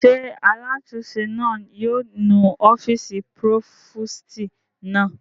Ṣé alátúnse náà yóò nu ọ́fìsì púrófòstì náà?